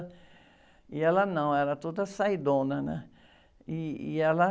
E ela não, ela era toda saidona, né? E, e ela...